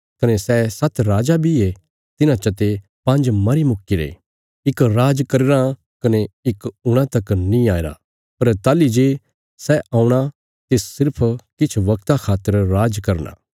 कने सै सात्त राजा बी ये तिन्हां चते पांज मरी चुक्कीरे इक राज करी रां कने इक हूणा तक नीं आईरा पर ताहली जे सै औणा तिस सिर्फ किछ बगता खातर राज करना